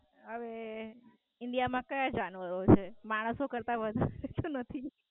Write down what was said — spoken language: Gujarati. હવે India માં કાયા જાનવરો હોય છે? માણસો કરતા તો વધારે નથી.